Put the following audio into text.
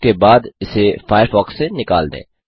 उसके बाद इसे फ़ायरफ़ॉक्स से निकाल दें